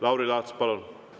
Lauri Laats, palun!